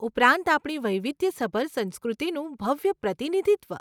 ઉપરાંત, આપણી વૈવિધ્યસભર સંસ્કૃતિનું ભવ્ય પ્રતિનિધિત્વ.